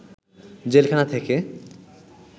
জেলখানা থেকে